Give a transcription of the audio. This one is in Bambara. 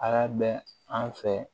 A y'a bɛ an fɛ